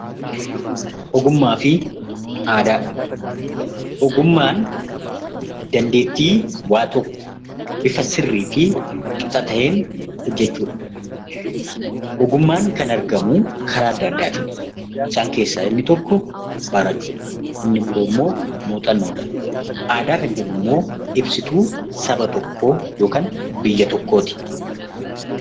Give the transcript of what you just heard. Ogummaa fi aadaa Ogummaan dandeettii waan tokko bifa sirrii fi qixa ta'een hojjechuudha. Ogummaan kan argamuu karaa addaa addaatiin. Isaan keessaa inmi tokko barachuudhaan, inni biroon muuxannoodhaani. Aadaa kan jennu immoo ibsituu saba tokkoo yookaan biyya tokkooti.